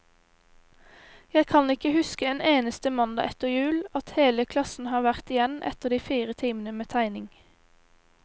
Jeg kan ikke huske en eneste mandag etter jul, at hele klassen har vært igjen etter de fire timene med tegning.